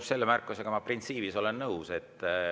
Selle märkusega ma printsiibis olen nõus.